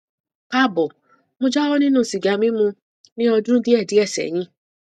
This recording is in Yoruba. kaabo mo jáwọ nínú sìgá mímu ní ọdún díẹ díẹ sẹyìn